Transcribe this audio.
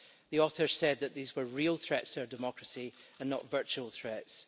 The author said that these were real threats to our democracy, and not virtual threats.